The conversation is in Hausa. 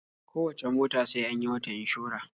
Kowacce mota sai an yi mata inshora.